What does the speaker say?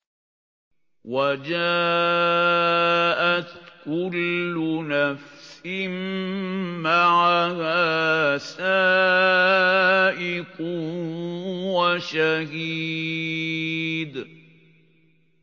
وَجَاءَتْ كُلُّ نَفْسٍ مَّعَهَا سَائِقٌ وَشَهِيدٌ